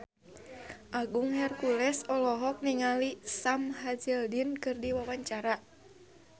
Agung Hercules olohok ningali Sam Hazeldine keur diwawancara